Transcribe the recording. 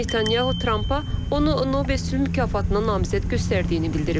Netanyahu Trampa onu Nobel sülh mükafatına namizəd göstərdiyini bildirib.